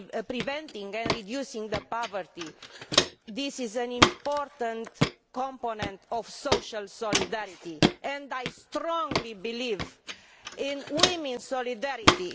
Preventing and reducing poverty is an important component of social solidarity and I strongly believe in women's solidarity.